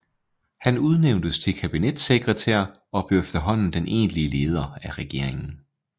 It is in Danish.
Han udnævntes til kabinetssekretær og blev efterhånden den egentlige leder af regeringen